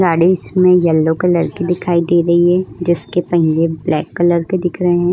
गाड़ी इस में येल्लो कलर की दिखायी दे रही है जीसके पहिये ब्लॅक कलर के दिख रहे है।